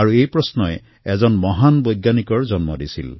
এই প্ৰশ্নই আধুনিক ভাৰতৰ এক মহান বৈজ্ঞানিকৰ জন্ম দিছিল